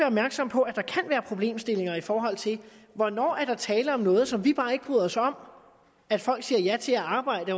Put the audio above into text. opmærksom på at der kan være problemstillinger i forhold til hvornår der er tale om noget som vi bare ikke bryder os om at folk siger ja til at arbejde